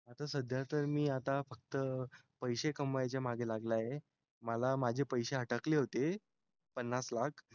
आता तर सध्या मी फक्त आता पसे कमवायचे मागे लागलाय आहे मला माझे पसे अटकले होते पन्नास लाख